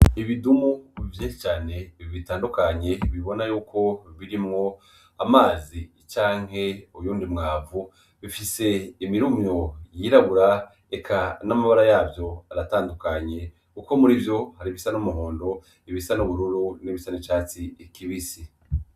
Ibidumu bivye cane i bitandukanye bibona yuko birimwo amazi icanke uyundi mwavu bifise imirumyo yirabura eka n'amabara yavyo aratandukanye, kuko muri vyo hari ibisa n'umuhondo ibisa n'ubururu n'ibisana icatsi ikibisi.